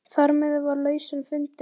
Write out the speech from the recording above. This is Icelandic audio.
Um leið byggist upp traust.